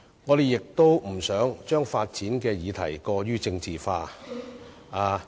我們也不想令發展議題過於政治化......